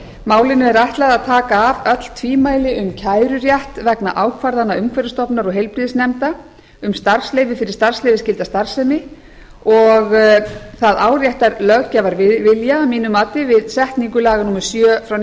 málinu er ætlað að taka af öll tvímæli um kærurétt vegna ákvarðana umhverfisstofnun og heilbrigðisnefnda um starfsleyfi fyrir starfsleyfisskylda starfsemi og það áréttar löggjafarvilja að mínu mati við setningu laga númer sjö